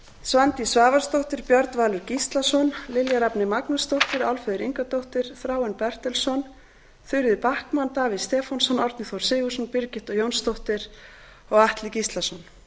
svandís svavarsdóttir björn valur gíslason lilja rafney magnúsdóttir álfheiður ingadóttir þráinn bertelsson þuríður backman davíð stefánsson árni þór sigurðsson birgitta jónsdóttir og atli gíslason